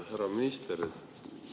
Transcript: Härra minister!